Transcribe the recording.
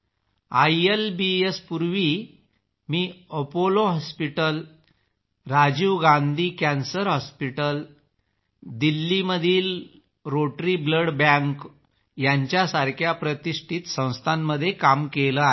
ILBS पूर्वीही मी Apollo hospital Rajiv Gandhi cancer hospital दिल्लीमधील रोटरी ब्लड बँक यासारख्या प्रतिष्ठित संस्थांमध्ये काम केले आहे